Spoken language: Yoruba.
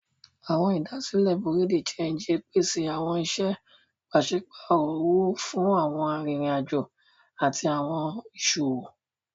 Awọn idasile Bureau de change pese awọn iṣẹ paṣipaarọ owo fun awọn aririn ajo ati awọn iṣowo.